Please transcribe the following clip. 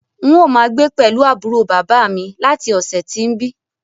N óò máa gbé pẹ̀lú àbúrò bàbá à mi láti ọ̀sẹ̀ tí ń bi